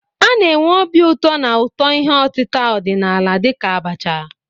Na-enwe obi ụtọ na ụtọ ihe otita ọdịnala dịka abacha.